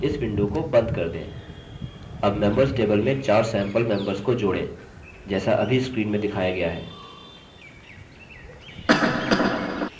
add members table में 4 sample members को जोड़ें जैसा अभी screen में दिखाया गया है